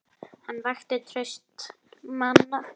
Hann vakti traust manna.